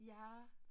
Ja